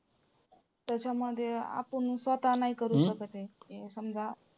त्याच्यामध्ये आपण स्वतः नाही करू शकत आहे. ते समजा.